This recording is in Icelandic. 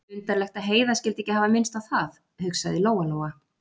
Undarlegt að Heiða skyldi ekki hafa minnst á það, hugsaði Lóa-Lóa.